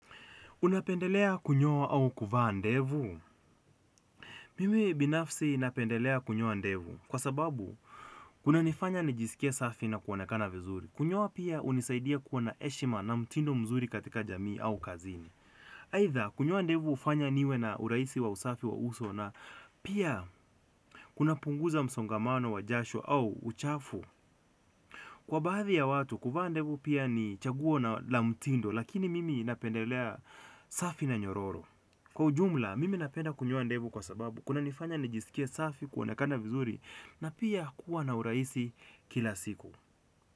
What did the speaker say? Unapendelea kunyoa au kuvaa ndevu? Mimi binafsi napendelea kunyoa ndevu kwa sababu kunanifanya nijisikie safi na kuonekana vizuri. Kunyoa pia hunisaidia kuwa na heshima na mtindo mzuri katika jamii au kazini. Aidha, kunyoa ndevu hufanya niwe na urahisi wa usafi wa uso na pia kunapunguza msongamano wa jasho au uchafu kwa baadhi ya watu, kuvaa ndevu pia ni chaguo na mtindo lakini mimi napendelea safi na nyororo. Kwa ujumla, mimi napenda kunyoa ndevu kwa sababu kunanifanya nijisikie safi kuonekana vizuri na pia kuwa na urahisi kila siku.